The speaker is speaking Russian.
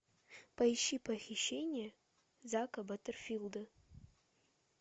поищи похищение зака баттерфилда